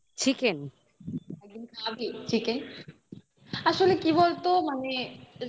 আমাকে খাওয়াবি chicken আসলে কি বলতো মানে